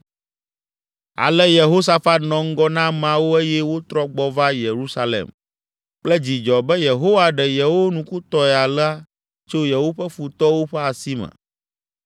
Ale Yehosafat nɔ ŋgɔ na ameawo eye wotrɔ gbɔ va Yerusalem kple dzidzɔ be Yehowa ɖe yewo nukutɔe alea tso yewoƒe futɔwo ƒe asi me.